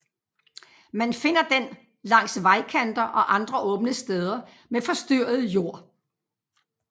Man finder den langs vejkanter og andre åbne steder med forstyrret jord